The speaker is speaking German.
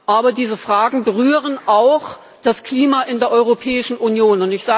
Aber diese Fragen berühren auch das Klima in der Europäischen Union.